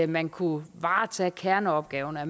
man kunne varetage kerneopgaverne og